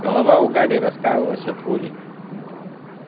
голова у гарри раскалывалась от боли